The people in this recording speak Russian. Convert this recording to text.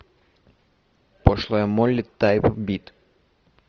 пошлая молли тайп бит